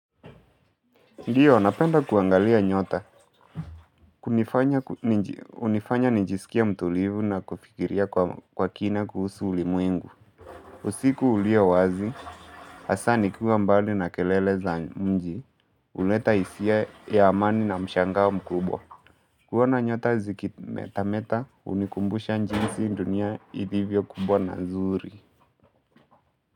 Ndio, napenda kuangalia nyota. Kuni unifanya nijiskie mtulivu na kufikiria kwa kwa kina kuhusu ulimwengu. Usiku ulio wazi, hasa nikiwa mbali na kelele za mji. Uleta hisia ya amani na mshangao mkubwa. Kuona nyota zikimeta meta hunikumbusha njinsi dunia ilivyo kubwa na nzuri.